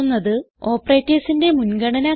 operatorsന്റെ മുൻഗണന ക്രമം